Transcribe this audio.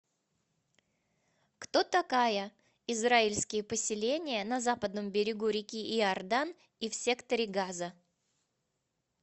кто такая израильские поселения на западном берегу реки иордан и в секторе газа